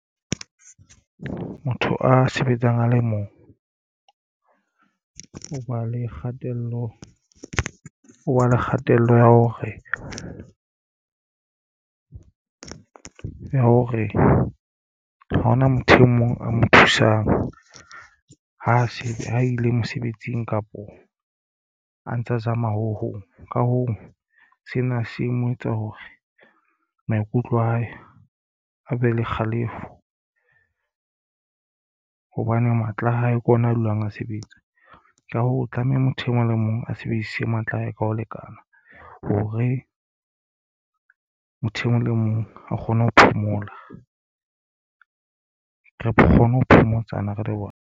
Motho a sebetsang a le mong o ba le kgatello ya hore ha hona motho e mong a mo thusang. Ha se a ile mosebetsing kapo a ntsa zama ho hong. Ka hoo sena se mo etsa hore maikutlo a hae a be le kgalefo hobane matla a hae ke ona a dulang a sebetsa ka ho tlameha motho e mong le mong a sebedise matla a hae ka ho lekana. Hore motho e mong le mong a kgone ho phomola re kgone ho phomotsana re le bona.